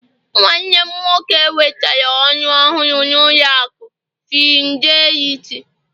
nwannem nwoke nwetara oru ohuru na ụlọ aku fidelity